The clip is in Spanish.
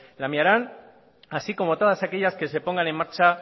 lamiaran así como todas aquellas que se pongan en marcha